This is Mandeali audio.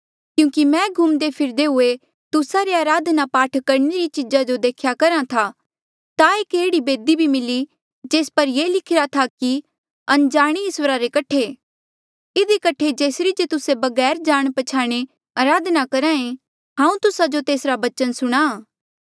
क्यूंकि मैं घुमदे फिरदे हुए तुस्सा रे अराधना पाठ करणे री चीजा जो देख्या करहा था ता एक एह्ड़ी बेदी भी मिली जेस पर ये लिखिरा था कि अनजाणे इस्वरा रे कठे इधी कठे जेसरी जे तुस्से बगैर जाणे प्छयाणे अराधना करहा ऐें हांऊँ तुस्सा जो तेसरा बचन सुणाहां